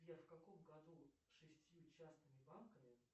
сбер в каком году шестью частными банками